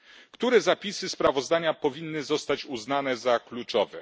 Które zapisy sprawozdania powinny zostać uznane za kluczowe?